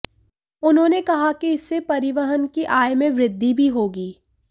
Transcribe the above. उन्होंने कहा कि इससे परिवहन की आय में वृद्धि भी होगी